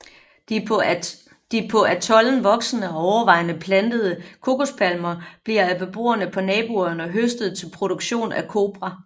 De på atollen voksende og overvejende plantede kokospalmer bliver af beboerne på naboøerne høstet til produktionen af Kopra